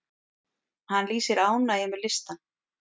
Hann lýsir ánægju með listann.